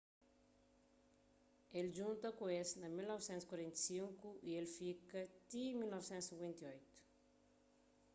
el djunta ku es na 1945 y el fika ti 1958